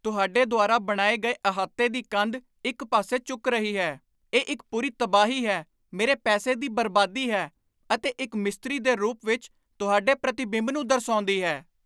ਤੁਹਾਡੇ ਦੁਆਰਾ ਬਣਾਏ ਗਏ ਅਹਾਤੇ ਦੀ ਕੰਧ ਇੱਕ ਪਾਸੇ ਝੁਕ ਰਹੀ ਹੈ ਇਹ ਇੱਕ ਪੂਰੀ ਤਬਾਹੀ ਹੈ, ਮੇਰੇ ਪੈਸੇ ਦੀ ਬਰਬਾਦੀ ਹੈ, ਅਤੇ ਇੱਕ ਮਿਸਤਰੀ ਦੇ ਰੂਪ ਵਿੱਚ ਤੁਹਾਡੇ ਪ੍ਰਤੀਬਿੰਬ ਨੂੰ ਦਰਸਾਉਂਦੀ ਹੈ